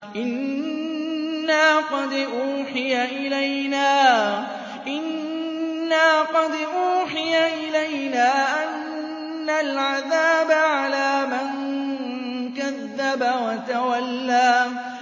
إِنَّا قَدْ أُوحِيَ إِلَيْنَا أَنَّ الْعَذَابَ عَلَىٰ مَن كَذَّبَ وَتَوَلَّىٰ